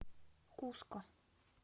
куско